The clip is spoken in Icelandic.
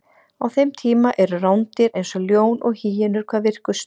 á þeim tíma eru rándýr eins og ljón og hýenur hvað virkust